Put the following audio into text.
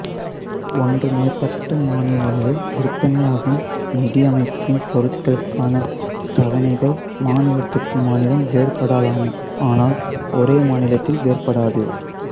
ஒன்று மேற்பட்ட மாநிலங்களில் விற்பனையாகும் நிதியமைப்பின் பொருட்களுக்கான தவணைகள் மாநிலத்துக்கு மாநிலம் வேறுபடலாம் ஆனால் ஒரே மாநிலத்தில் வேறுபடாது